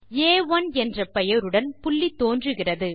ஆ1 என்ற பெயருடன் புள்ளி தோன்றுகிறது